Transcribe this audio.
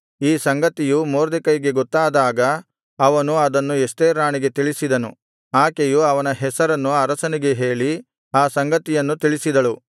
ಈ ಸಂಗತಿಯು ಮೊರ್ದೆಕೈಗೆ ಗೊತ್ತಾದಾಗ ಅವನು ಅದನ್ನು ಎಸ್ತೇರ್ ರಾಣಿಗೆ ತಿಳಿಸಿದನು ಆಕೆಯು ಅವನ ಹೆಸರನ್ನು ಅರಸನಿಗೆ ಹೇಳಿ ಆ ಸಂಗತಿಯನ್ನು ತಿಳಿಸಿದಳು